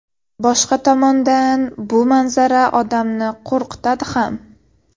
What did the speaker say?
Boshqa tomondan bu manzara odamni qo‘rqitadi ham.